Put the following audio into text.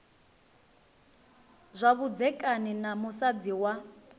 zwa vhudzekani na musadzi wa